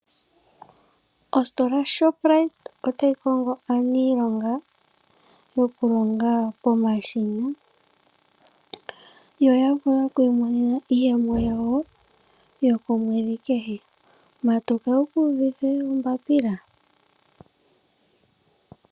Ositola yo Shoprite otayi kongo aaniilonga yoku longa pomashina . Yo ya vule oku imonena iiyemo yawo yokomwedhi kehe. Matuka wukuudhithe ombapila